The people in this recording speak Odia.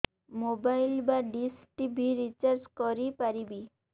ମୋବାଇଲ୍ ବା ଡିସ୍ ଟିଭି ରିଚାର୍ଜ କରି ପାରିବି